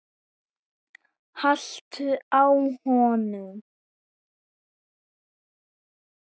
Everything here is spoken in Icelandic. haltu á honum!